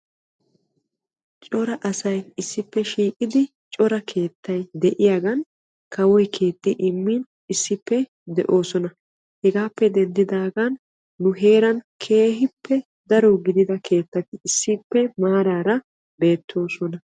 cora asay issippe shiiqidi cora keettay de'iyagan kawoy keexxi immin issippe de'oosona. hegaappe denddidaagan nu heeran keehippe daro gidida keettati issippe maaraara beettoosona.